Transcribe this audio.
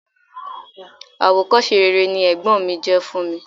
Àwòkọ́ṣe rere ni ẹ̀gbọ́n mi jẹ́ fún mi.